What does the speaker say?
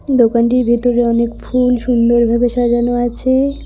দোকানটির ভিতরে অনেক ফুল সুন্দরভাবে সাজানো আছে-এ।